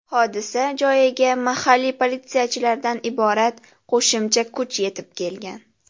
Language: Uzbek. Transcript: Hodisa joyiga mahalliy politsiyachilardan iborat qo‘shimcha kuch yetib kelgan.